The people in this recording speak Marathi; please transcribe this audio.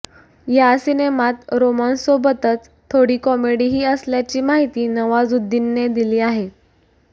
या सिनेमात रोमान्ससोबतच थोडी कॉमेडीही असल्याची माहीती नवाजुद्दीनने दिली आहे